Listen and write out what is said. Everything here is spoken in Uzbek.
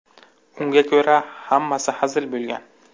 Unga ko‘ra, hammasi hazil bo‘lgan.